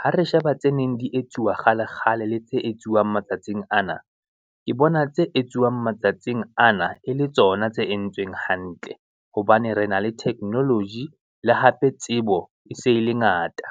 Ha re sheba tse neng di etsuwa kgale, kgale, le tse etsuwang bang matsatsing an. Ke bona tse etsuwang matsatsing ana e le tsona tse entsweng hantle, hobane re na le technology le hape tsebo e se e le ngata.